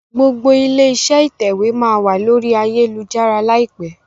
gbogbo ilé-iṣẹ́ ìtẹ̀wé má wá lórí Ayélujára láìpé.